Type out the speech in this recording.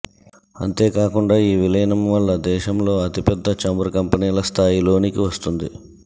అంతేకాకుండా ఈ విలీనం వల్ల దేశంలో అతిపెద్ద చమురు కంపెనీలస్థాయిలోనికి వస్తుంది